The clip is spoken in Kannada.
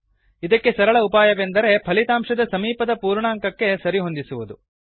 ಇದಕ್ಕೆ ಸರಳ ಉಪಾಯವೆಂದರೆ ಫಲಿತಾಂಶದ ಸಮೀಪದ ಪೂರ್ಣಾಂಕಕ್ಕೆ ಸರಿಹೊಂದಿಸುವುದು